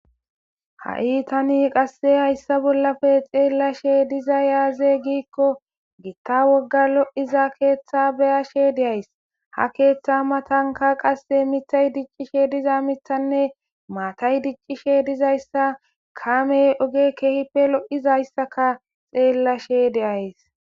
Ha'i tani qasse hayssa bollafe xeellashe diza yaaze giikko gitta wogga lo'iza keeththa beyashe deays ha keeththa matanka qasse mithay diccishe diza mithanne maatay diccishe dizayssa kame oge keehipe lo'izayssaka xeellashe deays.